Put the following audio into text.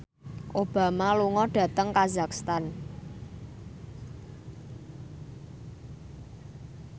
Obama lunga dhateng kazakhstan